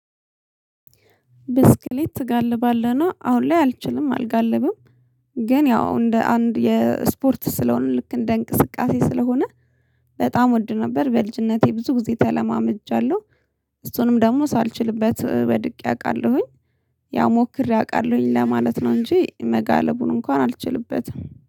ብስክሌት ትጋልባለህ ነው አሁን ላይ አልችልም አልጋልብም ግን ያው እንደ አንድ የስፖርት ስለሆነ ልክ እንደ እንቅስቃሴ ስለሆነ በጣም ወድ ነበር በልጅነቴ ብዙ ጊዜ ተለማመጃለሁ እሱንም ደግሞ ሳልችልበት ወድቄ አውቃለሁኝ። ያው ሞክሬ አውቃለሁኝ ለማለት ነው እንጂ መጋለቡን እንኳን አልችልበትም